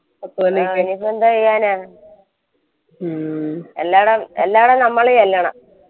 ഇനി ഇപ്പോയെന്തു ചെയ്യാനാ എല്ലാടും എല്ലാടും നമ്മള് ചെല്ലണം